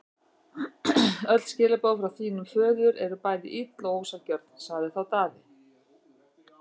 Öll skilaboð frá þínum föður eru bæði ill og ósanngjörn, sagði þá Daði.